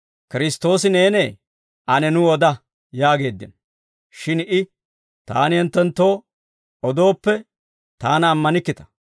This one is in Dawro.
«Kiristtoosi neenee? Ane nu oda» yaageeddino. Shin I, «Taani hinttenttoo odooppe taana ammanikkita;